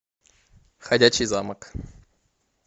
ходячий замок